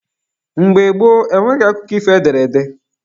Mgbe gboo, enweghị akụkọ ifo ederede